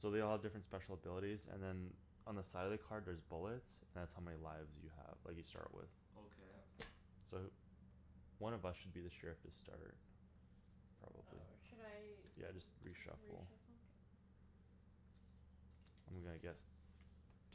So they all have different special abilities and then On the side of the card there's bullets. That's how many lives you have that you start with. Okay. Okay. So th- One of us should be the sheriff to start. Probably. Oh, should I Yeah, just re-shuffle. re-shuffle? I'm gonna guess